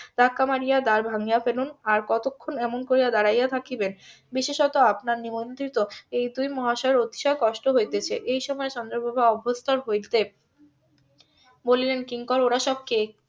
ধাক্কা মারিয়া দ্বার ভাঙ্গিয়া ফেলুন আর কতক্ষন এমন করিয়া দাঁড়িয়ে থাকিবেন বিশেষত আপনার নিমন্ত্রিত এই দুই মহাশয়ের অতিশয় কষ্ট হইতেছে এই সময় চন্দ্রপ্রভা অভস্তোর হইতে বলিলেন কিঙ্কর ওরা সব কে?